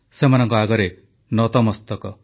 ସେମାନଙ୍କ ଆଗରେ ନତମସ୍ତକ